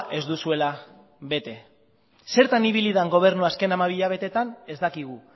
ez duzuela bete zertan ibili den gobernua azken hamabi hilabeteetan ez dakigu